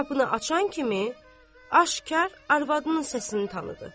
Qapını açan kimi aşkar arvadının səsini tanıdı.